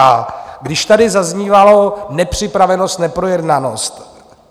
A když tady zaznívalo nepřipravenost, neprojednanost.